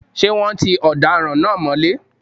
Ṣé wọ́́n ti ọ̀daràn náà mọ́lé?